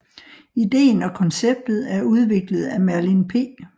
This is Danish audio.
Idéen og konceptet er udviklet af Merlin P